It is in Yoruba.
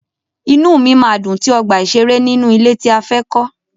Inúu mi máa dùn tí ọgbà ìṣeré nínú ilé tí a fẹ́ kọ́.